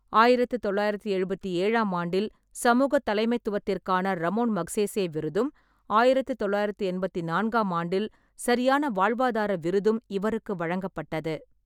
ஆயிரத்து தொள்ளாயிரத்து எழுபத்தேழாம் ஆண்டில் சமூகத் தலைமைத்துவத்திற்கான ரமோன் மக்சேசே விருதும், ஆயிரத்து தொள்ளாயிரத்து எண்பத்து நான்காம் ஆண்டில் சரியான வாழ்வாதார விருதும் இவருக்கு வழங்கப்பட்டது.